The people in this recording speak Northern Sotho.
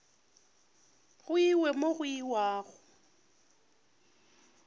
go iwe mo go iwago